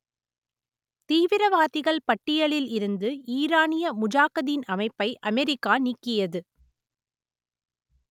தீவிரவாதிகள் பட்டியலில் இருந்து ஈரானிய முஜாகதீன் அமைப்பை அமெரிக்கா நீக்கியது